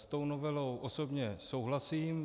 S tou novelou osobně souhlasím.